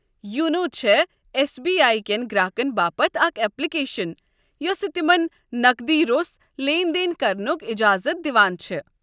YONO چھےٚ S B I كٮ۪ن گراكن باپت اكھ ایپلِكیشن یوسہٕ تِمن نقدی روٚس لین دین کرنُک اجازت دِوان چھےٚ۔